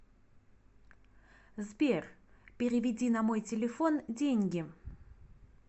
сбер переведи на мой телефон деньги